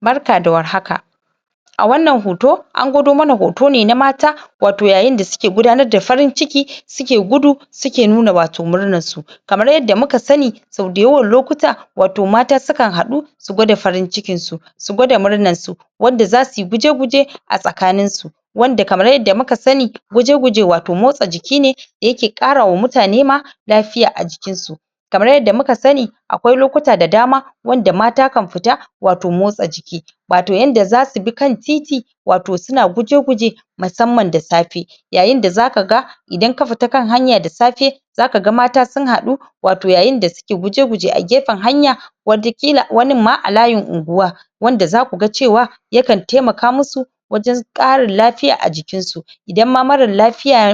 barka da war haka a wannan hoto an gwado mana hoto ne na mata wato yayin da suke gudanar da farin ciki suke gudu suke nuna wato murnar su kamar yadda muka sani sau dayawan lokuta wato mata sukan hadu su gwada farin cikin su su gwada murnar su wanda zasu yi guje guje a tsakanin su wanda kamar yadda muka sani guje guje wato motsa jiki ne yake kara wa mutane ma lafiya a jikin su kamar yadda muka sani akwai lokuta da dama wanda mata kan fita wato motsa jiki wato yanda zasu bi kan titi wato suna guje guje musamman da safe yayin da zaka ga idan ka fita kan hanya da safe zaka ga mata sun hadu wato yayin da suke guje guje a gefen hanya wata kila wanin ma a layin unguwa wanda zaku ga cewa yakan taimaka musu wajen karin lafiya a jikin su idan ma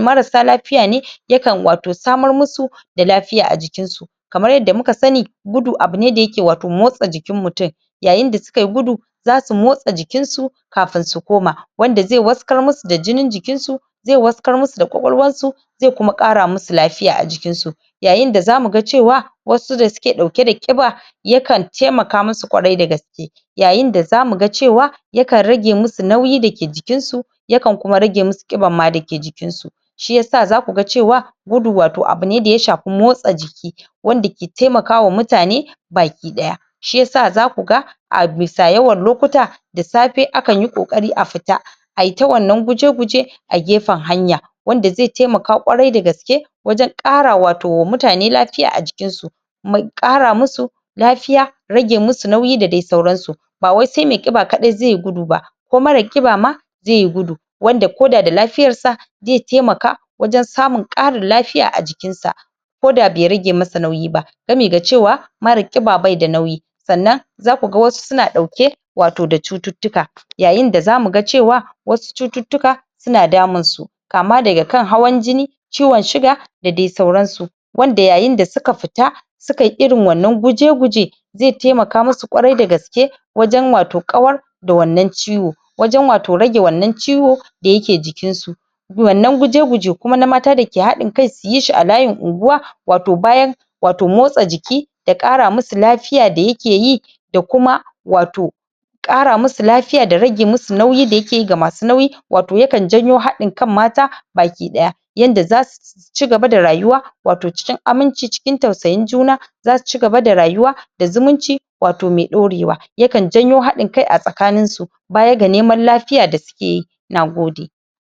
marasa lafiya ne yakan wato samar musu da lafiya a jikin su kamar yadda muka sani gudu abune da yake wato motsa jikin mutum yayin da suka yi gudu zasu motsa jikin su kafun su koma wanda zai waskar musu da jinin jikin su zai waskar musu da kwakwaluwan su zai kuma kara musu lafiya a jikin su yayin da zamu ga cewa wasu da suke dauke da kiba ya kan taimaka mus kwarai dagaske yayin da zamuga cewa yakan rage musu nauyi dake jikin su yakan kuma rage musu kiban dake jikin su shiyasa zaku ga cewa gudu abune wato da ya shafi motsa jiki wanda ke taimaka wa mutane baki daya shiyasa zaku ga a bisa yawan lokuta da safe akanyi kokari a fita ayi ta wannan guje guje a gefen hanya wanda zai taimaka kwarai dagaske wajen kara wato wa mutane lafiya a jikin su mai kara musu lafiya rage musu nauyi da dai sauran su ba wai sai mai kiba kadai zeyi gudu ba ko mara kiba ma zaiyi gudu wanda koda da lafiyar sa zai taimaka wajen samun karin lafiya a jikin sa koda bai rage masa nauyi ba sabida cewa mara kiba baida nauyi sannan zaku ga wasu suna dauke wato da cuttutuka Yayin da zamu ga cewa wasu cuttutuka suna damun su kama daga kan hawan jini ciwon sugar da dai sauran su wanda yayin da suka fita sukayi irin wannan guje guje zai taimaka musu kwarai dagaske wajen wato kawar da wannan ciwo wajen wato rage wanna ciwo da yake jikin su wannan guje guje kuma na mata da ke hadin kai suyi shi a layin ungwa wato bayan wato motsa jiki da kara musu lafiya da yake yi da kuma wato kara musu lafiya da rage musu nauyi ga masu nauyi wato yake janyo hadin kan mata naki daya yanda zasu cigaba da rayuwa wato cikin aminci cikin tausayin juna zasu cigaba da rayuwa da zumunci wato mai dorewa yakan janyo hadin kai a tsakanin su baya ga neman lafiya da suke yi nagode